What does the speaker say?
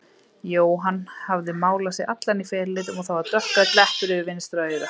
Jóhann hafði málað sig allan í felulitum og það var dökkgrænn leppur yfir vinstra auga.